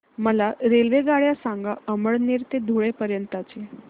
मला रेल्वेगाड्या सांगा अमळनेर ते धुळे पर्यंतच्या